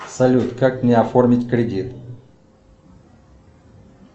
салют как мне оформить кредит